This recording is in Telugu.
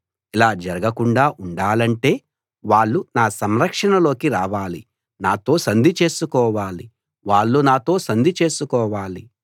ఇలా జరగకుండా ఉండాలంటే వాళ్ళు నా సంరక్షణలోకి రావాలి నాతో సంధి చేసుకోవాలి వాళ్ళు నాతో సంధి చేసుకోవాలి